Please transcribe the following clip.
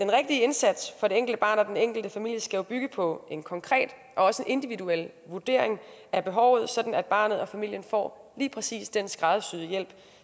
indsats for det enkelte barn og den enkelte familie skal jo bygge på en konkret og også en individuel vurdering af behovet sådan at barnet og familien får lige præcis den skræddersyede hjælp